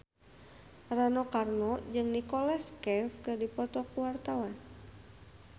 Rano Karno jeung Nicholas Cafe keur dipoto ku wartawan